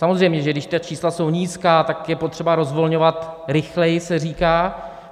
Samozřejmě, že když ta čísla jsou nízká, tak je potřeba rozvolňovat rychleji, se říká.